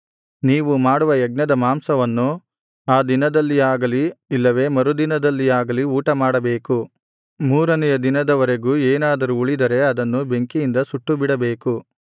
ನೀವು ಮಾಡುವ ಯಜ್ಞದ ಮಾಂಸವನ್ನು ಆ ದಿನದಲ್ಲಿಯಾಗಲಿ ಇಲ್ಲವೇ ಮರುದಿನದಲ್ಲಿಯಾಗಲಿ ಊಟಮಾಡಬೇಕು ಮೂರನೆಯ ದಿನದವರೆಗೆ ಏನಾದರೂ ಉಳಿದರೆ ಅದನ್ನು ಬೆಂಕಿಯಿಂದ ಸುಟ್ಟುಬಿಡಬೇಕು